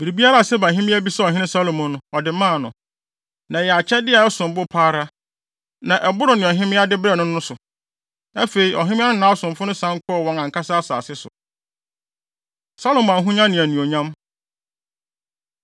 Biribiara a Seba hemmea bisaa ɔhene Salomo no, ɔde maa no. Na ɛyɛ akyɛde a ɛsom bo pa ara, na ɛboro nea ɔhemmea de brɛɛ no no so. Afei, ɔhemmea no ne nʼasomfo no san kɔɔ wɔn ankasa asase so. Salomo Ahonya Ne Anuonyam